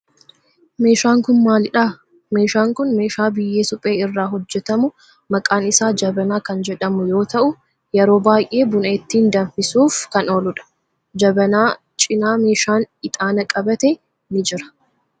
Meeshaan kun maalidhaa? Meeshaan kun meeshaa biyyee suphee irraa hojjetamu maqaan isaa jabanaa kan jedhamu yoo ta'u yeroo baayyee buna ittiin danfisuuf kan ooludha. Jabanaa cinaa meeshaan ixaana qabate ni jira.